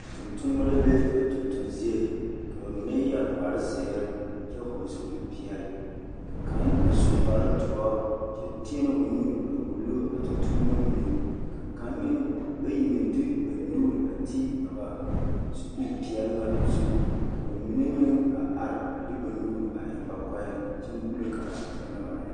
Tontonemo la be ba tontonziiri ka ba mine yɛre kparziiri kyɛ hɔɔle zupilipeɛle ka ba mine meŋ a su kpardoɔ kyɛ tēɛnɛ o nu a wulo a tontonemo mine ka bayi meŋ de ba nuuri a te ba zukupeɛle ka ba mine meŋ a are de ba nuuri eŋ ba kɔɛ kyɛ muulo kaara bone na ba naŋ erɛ.